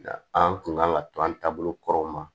Nka an kun kan ka to an taabolo kɔrɔw ma